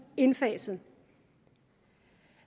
indfaset